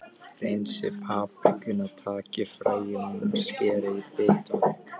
Hreinsið paprikuna, takið fræin úr henni og skerið í bita.